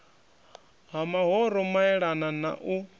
ha mahoro maelana na u